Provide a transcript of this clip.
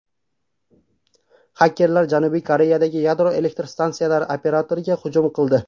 Xakerlar Janubiy Koreyadagi yadro elektr stansiyalari operatoriga hujum qildi.